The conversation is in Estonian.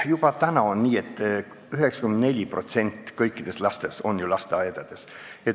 Juba praegu on nii, et 94% kõikidest lastest käib lasteaias.